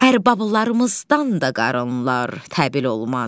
Ərbalarımızdan da qarınlar təbil olmaz.